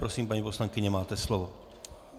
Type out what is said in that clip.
Prosím, paní poslankyně, máte slovo.